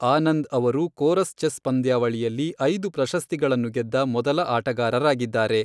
ಆನಂದ್ ಅವರು Corus chess ಪಂದ್ಯಾವಳಿಯಲ್ಲಿ ಐದು ಪ್ರಶಸ್ತಿಗಳನ್ನು ಗೆದ್ದ ಮೊದಲ ಆಟಗಾರರಾಗಿದ್ದಾರೆ.